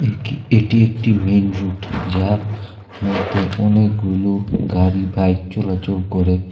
একি এটি একটি মেন রুট যা মদ্যে অনেকগুলো গাড়ি বাইক চলাচল করে।